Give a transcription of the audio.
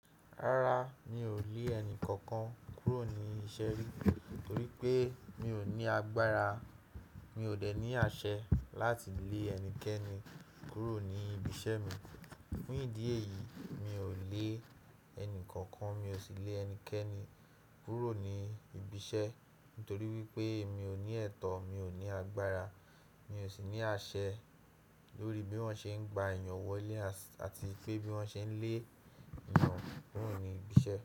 Rárá, mi ò lé ẹni kankan kúrò ní iṣẹ́ rí torí pé mi ò ní agbára. Mi ò dẹ ní àṣẹ láti lé ẹnikẹni kúrò ní ibi iṣẹ́ mi. Fún ìdí èyí, mi ò lé ẹni kankan, mi ò sì lé ẹnikẹni kúrò ní ibi iṣẹ́ nítorí wípé mi ò ní ẹ̀tọ́, mi ò ní agbára, mi ò sì ní àṣẹ lórí bí wón ṣe ń gba èèyàn wọlé àti pé bí wón ṣe ń lé èèyàn kúrò ní ibi iṣẹ́